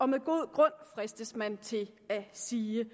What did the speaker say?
med god grund fristes man til at sige